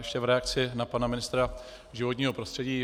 Ještě v reakci na pana ministra životního prostředí.